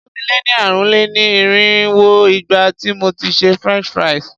Ó ti lé ní ààrùn-lé-ní-irínwó ìgbà tí mo ti ṣe French fries.